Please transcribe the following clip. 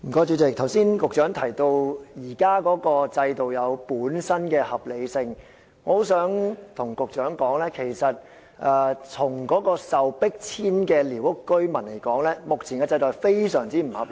主席，局長剛才提到現時的制度有其本身的合理性，但我想告訴局長，對於被迫遷的寮屋居民來說，現時的制度是相當不合理的。